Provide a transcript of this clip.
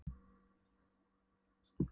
spurði hún og var nú verulega skelkuð.